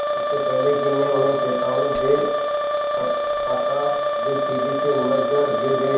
इससे पहले कि मैं उन्हें चेतावनी दे पाता वे सीढ़ी से उलझकर गिर गए